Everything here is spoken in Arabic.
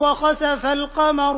وَخَسَفَ الْقَمَرُ